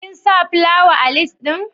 Kin sa plawa a lis din?